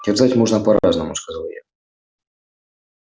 терзать можно по-разному сказал я